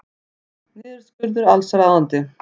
Niðurskurður allsráðandi